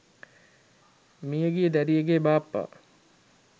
මියගිය දැරියගේ බාප්පා